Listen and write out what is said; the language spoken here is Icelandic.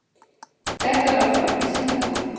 Þetta var þó ekki syndafallið.